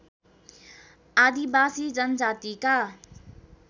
आदिवासी जनजातिका